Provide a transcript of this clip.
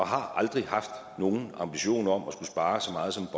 har aldrig haft nogen ambition om at skulle spare så meget som